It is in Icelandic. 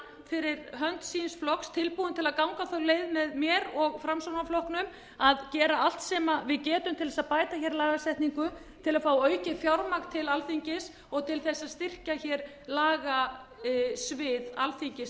fyrir hönd síns flokks tilbúinn til að ganga þá leið með mér og framsóknarflokknum að gera allt sem við getum til að bæta lagasetningu til að fá aukið fjármagn til alþingis og til að styrkja lagasvið alþingis